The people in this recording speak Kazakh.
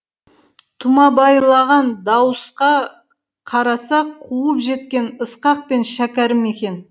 тұмабайлаған дауысқа қараса қуып жеткен ысқақ пен шәкәрім екен